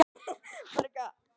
Þetta er hin mesta firra.